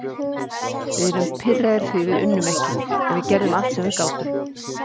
Við erum pirraðir því við unnum ekki, en við gerðum allt sem við gátum.